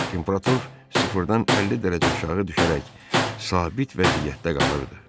Temperatur sıfırdan 50 dərəcə aşağı düşərək sabit vəziyyətdə qalırdı.